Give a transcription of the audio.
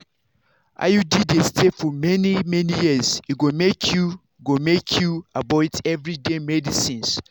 iud dey stay for many-many years e go make you go make you avoid everyday medicines.